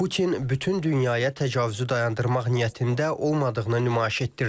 Putin bütün dünyaya təcavüzü dayandırmaq niyyətində olmadığını nümayiş etdirdi.